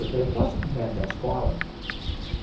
Eu falei, posso te acompanhar até a escola?